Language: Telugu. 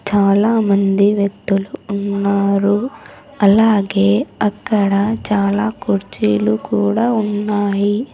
చాలామంది వ్యక్తులు ఉన్నారు అలాగే అక్కడ చాలా కుర్చీలు కూడా ఉన్నాయి.